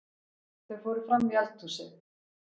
Þau fóru frammí eldhúsið.